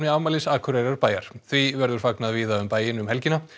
afmælis Akureyrarbæjar því verður fagnað víða um bæinn um helgina